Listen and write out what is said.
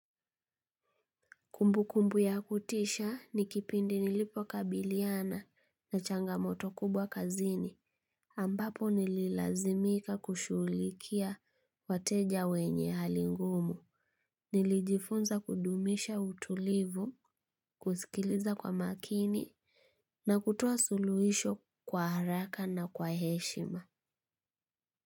Kumbu kumbu ya kutisha ni kipindi nilipo kabiliana na changamoto kubwa kazini ambapo nililazimika kushulikia wateja wenye halingumu. Nilijifunza kudumisha utulivu kuskiliza kwa makini na kutoa suluhisho kwa haraka na kwa heshima.